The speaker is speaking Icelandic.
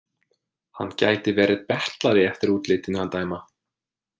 Hann gæti verið betlari eftir útlitinu að dæma.